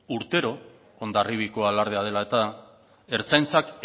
urtero hondarribiko alardea dela eta ertzaintzak